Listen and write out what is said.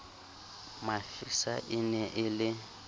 mafisa e ne e le